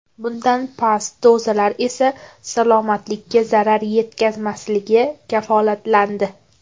Bundan past dozalar esa salomatlikka zarar yetkazmasligi kafolatlandi.